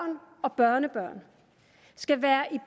og børnebørn skal være i